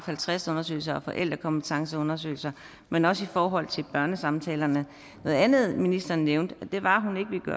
halvtreds undersøgelser og forældrekompetenceundersøgelser men også i forhold til børnesamtaler noget andet ministeren nævnte var